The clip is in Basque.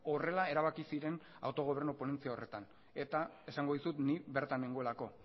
horrela erabaki ziren autogobernu ponentzia horretan eta esango dizut ni bertan nengoelako